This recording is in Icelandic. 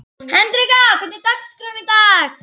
Hendrikka, hvernig er dagskráin í dag?